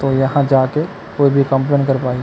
तो यहाँ जाके कोई भी कम्प्लैन कर पाही--